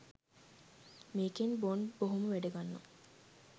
මේකෙන් බොන්ඩ් බොහොම වැඩ ගන්නවා